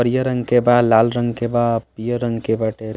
हरियर रंग के बा लाल रंग के बा। पियर रंग के बाटे।